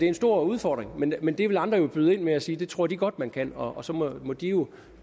en stor udfordring men men der vil andre jo byde ind med at sige at det tror de godt man kan og så må de jo